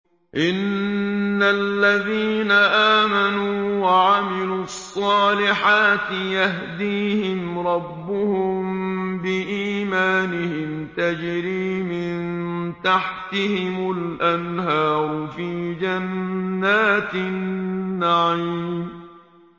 إِنَّ الَّذِينَ آمَنُوا وَعَمِلُوا الصَّالِحَاتِ يَهْدِيهِمْ رَبُّهُم بِإِيمَانِهِمْ ۖ تَجْرِي مِن تَحْتِهِمُ الْأَنْهَارُ فِي جَنَّاتِ النَّعِيمِ